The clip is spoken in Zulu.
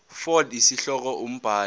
fal isihloko umbhali